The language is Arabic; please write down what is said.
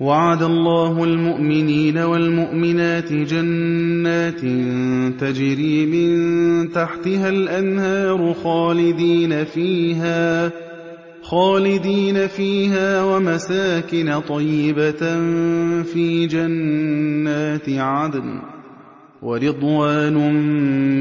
وَعَدَ اللَّهُ الْمُؤْمِنِينَ وَالْمُؤْمِنَاتِ جَنَّاتٍ تَجْرِي مِن تَحْتِهَا الْأَنْهَارُ خَالِدِينَ فِيهَا وَمَسَاكِنَ طَيِّبَةً فِي جَنَّاتِ عَدْنٍ ۚ وَرِضْوَانٌ